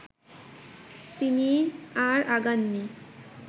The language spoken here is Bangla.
তিনি আর আগাননি